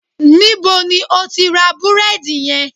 Níbo ni o ti ra búrédì yen?